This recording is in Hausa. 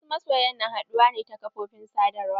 Wasu masoyan na haɗuwa ne ta ƙafofin sadawar.